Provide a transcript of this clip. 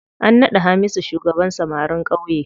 An naɗa Hamisu shugaban samarin ƙauye.